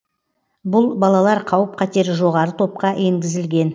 бұл балалар қауіп қатері жоғары топқа енгізілген